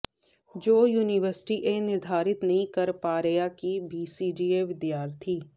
ਜੋ ਯੂਨੀਵਰਸਿਟੀ ਇਹ ਨਿਰਧਾਰਤ ਨਹੀਂ ਕਰ ਪਾ ਰਿਹਾ ਕਿ ਬੀਸੀਏ ਵਿਦਿਆਰਥੀ